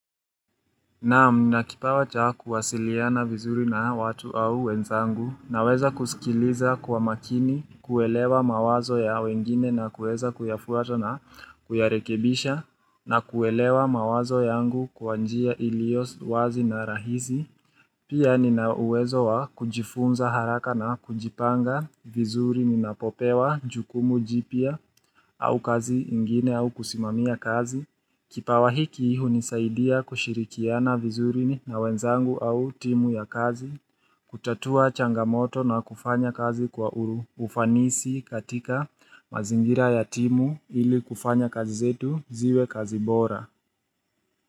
Naam na kipawacha kuwasiliana vizuri na watu au wenzangu na weza kusikiliza kwa makini kuelewa mawazo ya wengine na kueza kuyafuato na kuyarekebisha na kuelewa mawazo yangu kwa njia ilio wazi na rahisi. Pia nina uwezo wa kujifunza haraka na kujipanga vizuri ninapopewa jukumu jipya au kazi ingine au kusimamia kazi. Kipawahiki hunisaidia kushirikiana vizuri na wenzangu au timu ya kazi. Kutatua changamoto na kufanya kazi kwa ufanisi katika mazingira ya timu ili kufanya kazi zetu ziwe kazi bora.